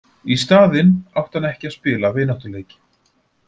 Í staðinn átti hann ekki að spila vináttuleiki.